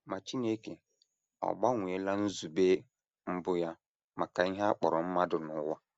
Ma Chineke ọ̀ gbanweela nzube mbụ ya maka ihe a kpọrọ mmadụ na ụwa?